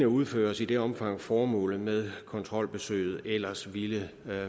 udføres i det omfang formålet med kontrolbesøget ellers ville